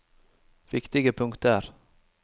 viktige punkter